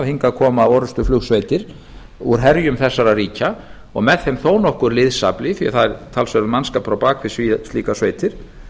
hingað koma orrustuflugsveitir úr herjum þessara ríkja og með þeim þó nokkur liðsafli því að það er talsverður mannskapur á bak við slíkar sveitir